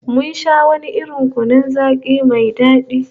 Mun sha wani irin kunun zaki mai dadi